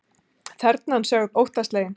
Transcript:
Þernan sögð óttaslegin